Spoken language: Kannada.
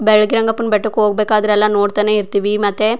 ಬೆಳಗಿ ರಂಗಪ್ಪನ ಬೆಟ್ಟಕ್ಕೆ ಹೋಗಬೇಕಾದ್ರೆ ಎಲ್ಲಾ ನೋಡತ್ತಾನೆ ಇರ್ತೀವಿ ಮತ್ತೆ.